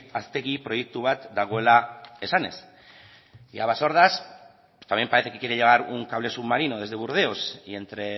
haztegi proiektu bat dagoela esanez y a basordas pues también parece que quiere llegar un cable submarino desde burdeos y entre